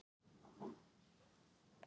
Sjúgandi uppí nefið geng ég í kringum húsið.